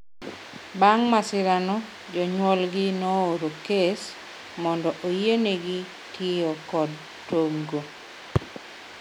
Bang’ masirano, jonyuolgi nooro kes mondo oyienegi tiyo kod tong’go.